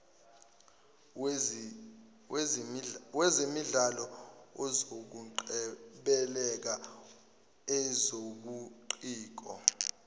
wezemidlalo ezokungcebeleka ezobuciko